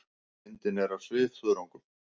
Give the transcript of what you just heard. Myndin er af svifþörungum.